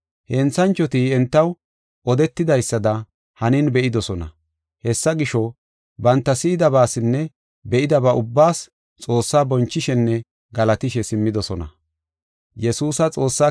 Henthanchoti entaw odetidaysada hanin be7idosona. Hessa gisho, banta si7idabaasinne be7idaba ubbaas Xoossaa bonchishenne galatishe simmidosona.